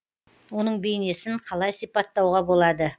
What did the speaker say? оның бейнесін қалай сипаттауға болады